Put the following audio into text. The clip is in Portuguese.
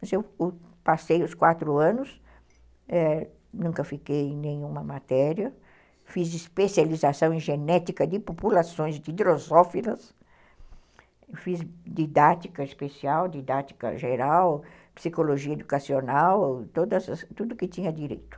Mas eu passei os quatro anos, eh, nunca fiquei em nenhuma matéria, fiz especialização em genética de populações de Drosófilas, fiz didática especial, didática geral, psicologia educacional, tudo que tinha direito.